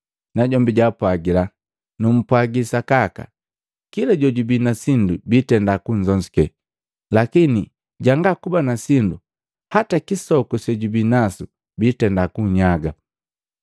Najombi jaapwagila, ‘Numpwagi sakaka, kila jojubii na sindu biitenda kunzonzuke. Lakini janga kuba na sindu, hata kisoku sejubinasu biitenda kunyaga.